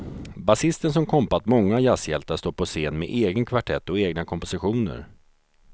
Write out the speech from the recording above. Basisten som kompat många jazzhjältar står på scen med egen kvartett och egna kompositioner.